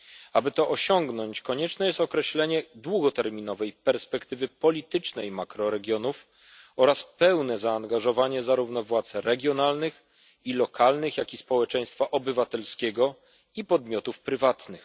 Aby to osiągnąć, konieczne jest określenie długoterminowej perspektywy politycznej makroregionów oraz pełne zaangażowanie zarówno władz regionalnych i lokalnych, jak i społeczeństwa obywatelskiego i podmiotów prywatnych.